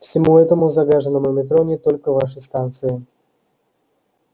всему этому загаженному метро не только вашей станции